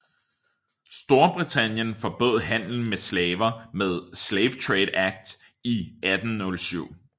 Storbritannien forbød handel med slaver med Slave Trade Act i 1807